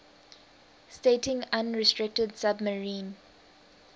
stating unrestricted submarine